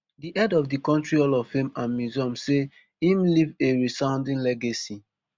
di head of di country hall of fame and museum say im leave a resounding legacy